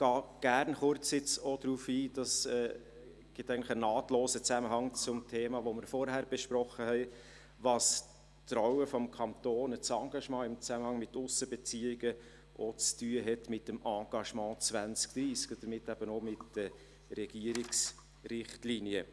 Ich gehe auch kurz darauf ein – das gibt eigentlich einen nahtlosen Zusammenhang zum Thema, das wir vorhin besprochen haben –, was die Rolle des Kantons und das Engagement im Zusammenhang mit den Aussenbeziehungen zu tun hat mit dem Engagement 2030 und somit eben auch mit den Regierungsrichtlinien.